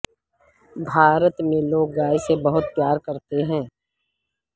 بھارت میں لوگ گائے سے بہت پیار کرتے ہیں